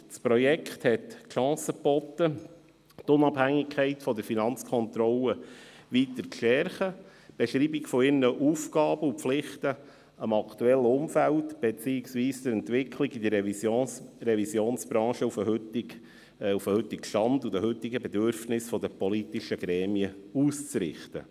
Dieses Projekt bot die Chance, die Unabhängigkeit der Finanzkontrolle weiter zu stärken und die Beschreibung der Aufgaben sowie der Pflichten gemäss dem aktuellen Umfeld beziehungsweise auf die Entwicklung der Revisionsbranche sowie auf die heutigen Bedürfnisse der politischen Gremien auszurichten.